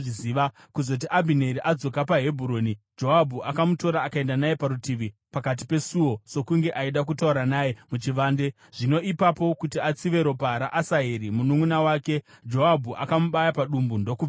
Kuzoti Abhineri adzoka paHebhuroni, Joabhu akamutora akaenda naye parutivi, pakati pesuo sokunge aida kutaura naye muchivande. Zvino ipapo, kuti atsive ropa raAsaheri mununʼuna wake, Joabhu akamubaya padumbu, ndokubva afa.